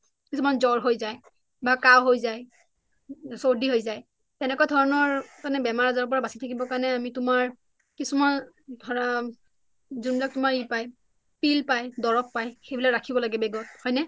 কিছুমানৰ জৰ হৈ যায় বা কাঁহ হৈ যায় বা সৰ্দি হৈ যায় তেনেকুৱা ধৰণৰ বেমাৰ আজাৰৰ পৰা বাচি থাকিবৰ কাৰণে আমি তোমাৰ কিছুমান ধৰা যুনবিলক ই পায় pill পাই দৰৱ পাই সেইবিলাক ৰাখিব লাগে হয় নে